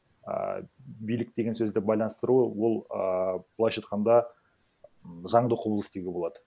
ааа билік деген сөзді байланыстыру ол ааа былайша айтқанда заңды құбылыс деуге болады